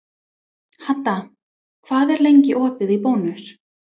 Hadda, hvað er lengi opið í Bónus?